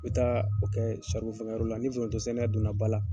I bɛ taa o kɛ fangayɔrɔ la ni forontosɛnɛ donna ba la.